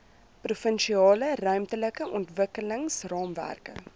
provinsiale ruimtelike ontwikkelingsraamwerk